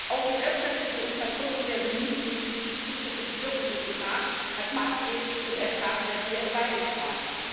Auch die repressive Unterdrückung der Sunniten durch die schiitische Regierung im Irak hat maßgeblich zum Erstarken des IS beigetragen.